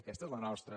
aquesta és la nostra